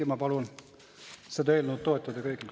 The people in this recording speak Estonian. Ja ma palun seda eelnõu toetada kõigil.